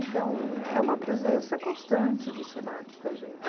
Então, é uma presença constante do Senac com a gente.